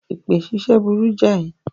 Èpè ṣíṣẹ́ burú jáì.